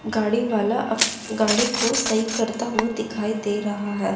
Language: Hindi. गाड़ी वाला गाड़ी को सही करता हुआ दिखाई दे रहा है।